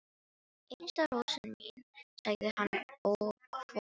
Einasta rósin mín, sagði hann og fór.